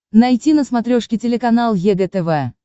найти на смотрешке телеканал егэ тв